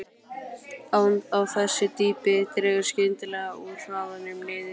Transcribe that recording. Á þessu dýpi dregur skyndilega úr hraðanum niður í